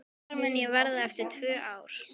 Hvar mun ég vera eftir tvö ár?